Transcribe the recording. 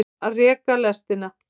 Að reka lestina